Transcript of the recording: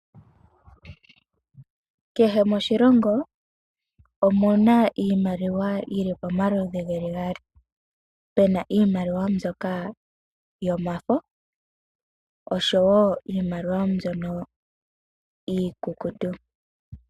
Kehe moshilongo omu na iimaliwa yi li pomaludhi ge li gaali pe na iimaliwa mbyoka yomafo noshowo iimaliwa mbyono iikukutu.